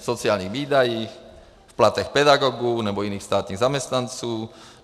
V sociálních výdajích, v platech pedagogů nebo jiných státních zaměstnanců?